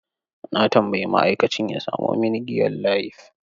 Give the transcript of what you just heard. Na tambayi ma'aikacin ya samo mini giyan Layif.